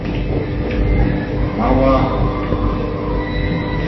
малахов